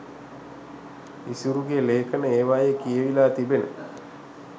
ඉසුරුගෙ ලේඛන ඒවයෙ කියවිලා තිබෙන